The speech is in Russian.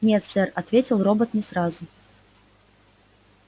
нет сэр ответил робот не сразу